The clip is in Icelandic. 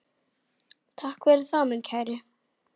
Takk fyrir það, minn kæri.